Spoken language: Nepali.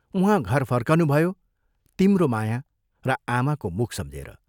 उहाँ घर फर्कनुभयो तिम्रो माया र आमाको मुख सम्झेर।